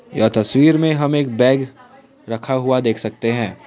यह तस्वीर में हम एक बैग रखा हुआ देख सकते हैं।